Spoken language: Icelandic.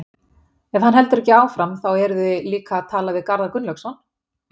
Ef hann heldur ekki áfram, þá eruði líka að tala við Garðar Gunnlaugsson?